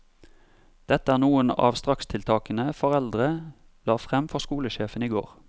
Dette er noen av strakstiltakene foreldre la frem for skolesjefen i går.